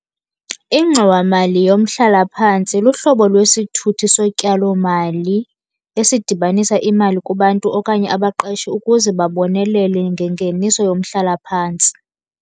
Ingxowamali yomhlalaphantsi luhlobo lwesithuthi sotyalomali esidibanisa imali kubantu okanye abaqeshi ukuze babonelele ngengeniso yomhlalaphantsi.